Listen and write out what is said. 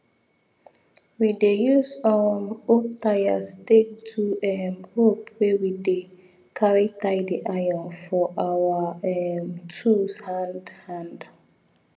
we dey use um old tyres take do um rope wey we dey carry tie the iron for our um tools hand hand